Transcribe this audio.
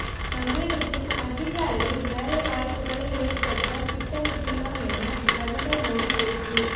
தமிழகத்தில் அதிக அளவில் வேலைவாய்ப்புகளை ஏற்படுத்த திட்டமிட்டுள்ளோம் என பிரதமர் மோடி பேச்சு